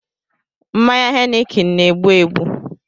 Mmanya heineken na-egbu egbu